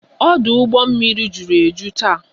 Ọdụ ụgbọ mmiri juru eju taa